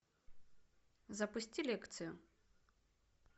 запусти лекцию